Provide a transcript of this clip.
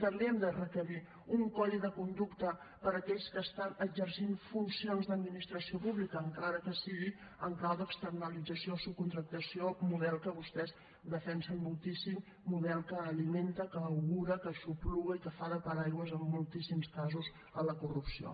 també hem de requerir un codi de conducta per a aquells que exerceixen funcions d’administració pública encara que sigui en clau d’externalització o subcontractació model que vostès defensen moltíssim model que alimenta que augura que aixopluga i que fa de paraigua en moltíssims casos a la corrupció